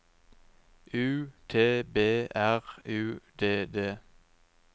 U T B R U D D